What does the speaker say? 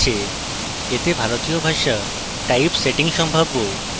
এতে ভারতীয় ভাষা typesetting সম্ভব